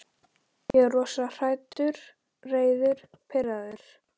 Ég er rosalega hræddur, reiður, pirraður.